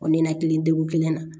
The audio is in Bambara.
O ni na kelen na